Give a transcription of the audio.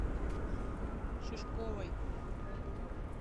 шишковой